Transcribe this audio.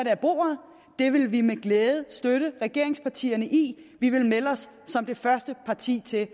af bordet det vil vi med glæde støtte regeringspartierne i vi vil melde os som første parti til at